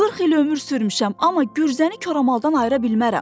40 il ömür sürmüşəm, amma gürzəni koramaldan ayıra bilmərəm.